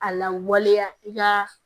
A lawaleya i ka